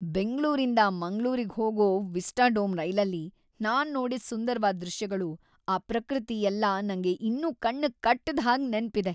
ಬೆಂಗ್ಳೂರಿಂದ ಮಂಗ್ಳೂರಿಗ್ ಹೋಗೋ ವಿಸ್ಟಾಡೋಮ್ ರೈಲಲ್ಲಿ ನಾನ್ ನೋಡಿದ್ ಸುಂದರ್ವಾದ್‌ ದೃಶ್ಯಗಳು, ಆ ಪ್ರಕೃತಿ ಎಲ್ಲ ನಂಗೆ ಇನ್ನೂ ಕಣ್ಣಿಗ್‌ ಕಟ್ದ್ ಹಾಗ್ ನೆನ್ಪಿದೆ.